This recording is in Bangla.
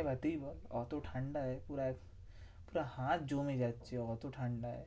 এবার তুই বল ওতো ঠান্ডায় পুরো, পুরো হাত জমে যাচ্ছে ওতো ঠান্ডায়।